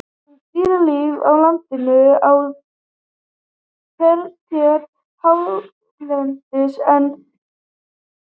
Um dýralíf á landi á tertíer hérlendis er enn